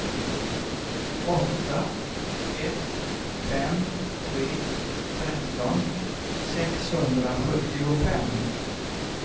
åtta ett fem tre tretton sexhundrasjuttiofem